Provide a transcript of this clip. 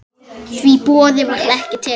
Því boði var ekki tekið.